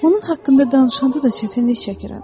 Onun haqqında danışanda da çətinlik çəkirəm.